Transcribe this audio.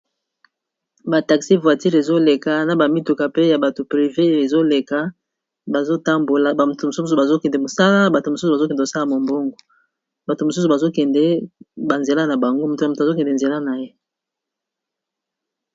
Ba taxi voiture ezoleka, na ba mituka pe ya bato privé ezoleka. Bazo tambola bato mosusu bazo kende mosala, bato mosusu bazo kende kosala mombongo. Bato mosusu bazo kende ba nzela na bango moto na moto azo kende nzela na ye.